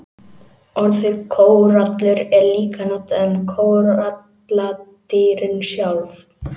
Orðið kórallur er líka notað um kóralladýrin sjálf.